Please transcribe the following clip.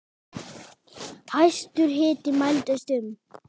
Hæstur hiti mældist um